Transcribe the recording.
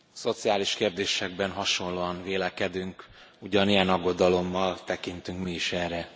Szociális kérdésekben hasonlóan vélekedünk, ugyanilyen aggodalommal tekintünk mi is erre.